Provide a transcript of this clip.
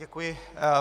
Děkuji.